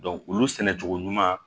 olu sɛnɛcogo ɲuman